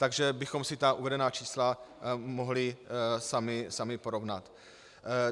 Takže bychom si ta uvedená čísla mohli sami porovnat.